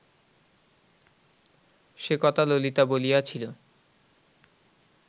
সে কথা ললিতা বলিয়াছিল